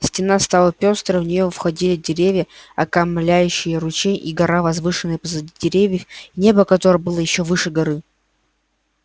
стена стала пёстрой в нее входили деревья окаймляющие ручей и гора возвышающаяся позади деревьев и небо которое было ещё выше горы